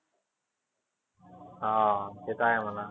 हा ते तर आहे म्हणा.